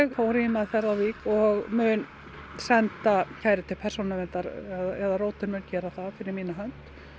fór í meðferð á Vík og mun senda kæru til Persónuverndar eða rótin mun gera það fyrir mína hönd